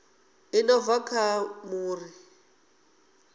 i no bva kha muri